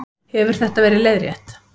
Hefur þetta verið leiðrétt